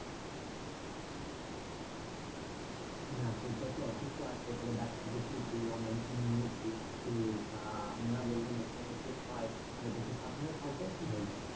না শরীরটা একটু অসুস্থ আছে তবে ডাক্তার দেখিয়েছি ও medicine নিয়েছি। উহ তা ওনারা বললেন এসময় একটু হয় সাবধানে থাকবে ঠিক হয়ে যাবে।